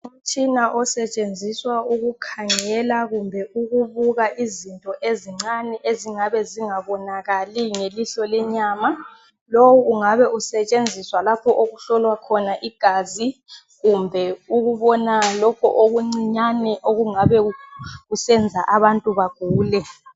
Umtshina osetshenziswa ukukhangela kumbe ukubuka izinto ezincane ezingabe zingabonakali ngelihlo lenyama. Lowu ungabe usetshenziswa lapho okuhlolwa khona igazi kumbe ukubona lokho okuncinyane okungabe kusenza abantu bagule.